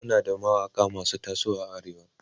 Muna da mawaƙa masu tasowa a arewa